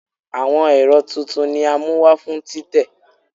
Awọn ẹrọ titun ni a mu wa fun titẹ